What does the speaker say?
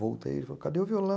Voltei, ele falou, cadê o viol